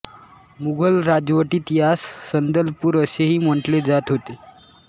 मुघल राजवटीत यास संदलपूर असेही म्हटले जात होते